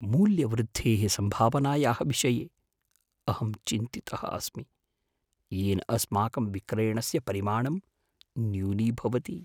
मूल्यवृद्धेः सम्भावनायाः विषये अहं चिन्तितः अस्मि। येन अस्माकं विक्रेणस्य परिमाणं न्यूनीभवति।